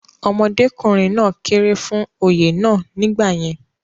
ọmọdékùnrin náà kéré fún Oyè náà nígbà yẹn